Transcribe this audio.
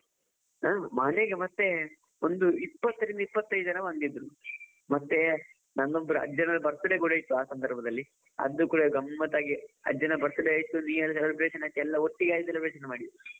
ಆ ಮನೆಗೆ ಮತ್ತೆ ಒಂದು ಇಪ್ಪತ್ತರಿಂದ ಇಪ್ಪತ್ತೈದು ಜನ ಇದ್ರೂ, ಮತ್ತೆ ನಮ್ಮ ಅಜ್ಜನದ್ದು birthday ಕೂಡ ಇತ್ತು ಆ ಸಂದರ್ಭದಲ್ಲಿ, ಅದು ಕೂಡಾ ಗಮ್ಮತ್ತಾಗಿ ಅಜ್ಜನ birthday ಆಯ್ತು new year celebration ಆಯ್ತು ಎಲ್ಲ ಒಟ್ಟಿಗೆ ಆಗಿ celebration ಮಾಡಿದ್ದು.